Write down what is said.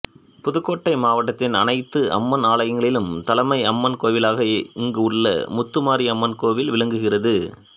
புதுக்கோட்டை மாவட்டத்தின் அனைத்து அம்மன் ஆலயங்களின் தலைமை அம்மன் கோவிலாக இங்குள்ள முத்துமாரி அம்மன் கோவில் விளங்குகிறது